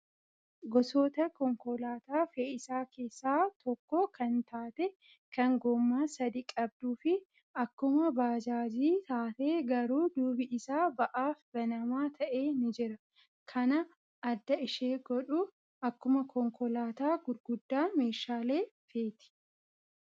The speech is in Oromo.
Gosoota konkolaataa fe'iisaa keessaa tokko kan taate kan gommaa sadii qabduu fi akkuma baajaajii taatee garuu duubi isaa ba'aaf banamaa ta'e ni jira. Kana adda ishee godhu akkuma konkolaataa gurguddaa meeshaalee feeti.